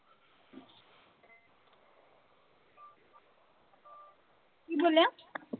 ਕੀ ਬੋਲਿਆ?